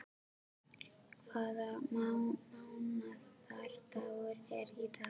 Ástrós, hvaða mánaðardagur er í dag?